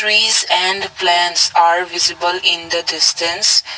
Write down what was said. Trees and the plants are visible in the distance.